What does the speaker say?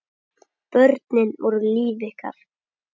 Börnin voru líf ykkar.